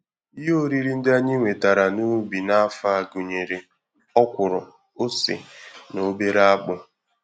Ihe oriri ndị anyị wetara n'ubi n'afọ a gụnyere ọkwụrụ, ose, na obere akpụ.